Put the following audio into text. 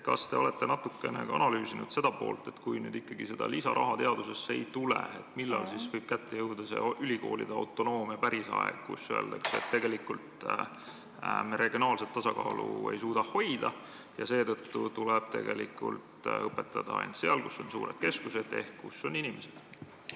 Kas te olete natukene ka analüüsinud seda poolt, et kui nüüd ikkagi seda lisaraha teadusesse ei tule, millal siis võib kätte jõuda see ülikoolide autonoomia pärisaeg, kus öeldakse, et tegelikult me regionaalset tasakaalu hoida ei suuda ja seetõttu tuleb õpetada ainult seal, kus on suured keskused ehk kus on inimesed?